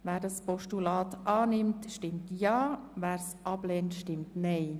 Wer dieses annimmt, stimmt Ja, wer es ablehnt, stimmt Nein.